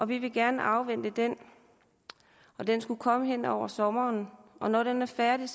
vi vil gerne afvente den den skulle komme hen over sommeren og når den er færdig